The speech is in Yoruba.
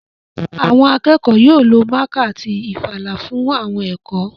Àwọn akẹ́kọ̀ọ́ yóò lo mákà àti ìfalà fún àwọn ẹ̀kọ́